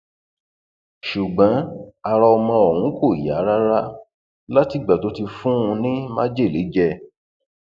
ṣùgbọn ara ọmọ ọhún kò yá rárá látìgbà tó ti fún un ní májèlé jẹ